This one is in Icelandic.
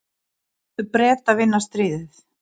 Láttu Breta vinna stríðið.